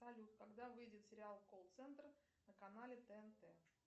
салют когда выйдет сериал колл центр на канале тнт